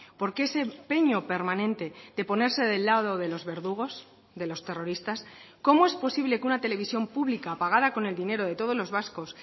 por qué ese empeño permanente de ponerse del lado de los verdugos de los terroristas cómo es posible que una televisión pública pagada con el dinero de todos los vascos